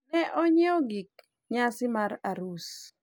ne onyiewo gik nyasi mar arus